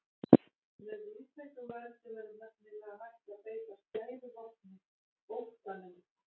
Með víðtækum völdum er nefnilega hægt að beita skæðu vopni, óttanum.